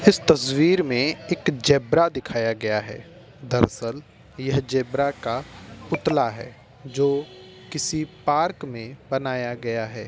इस तस्वीर में एक जेब्रा दिखाया गया है दरसल यह जेब्रा का पुतला है जो किसी पार्क में बनाया गया है।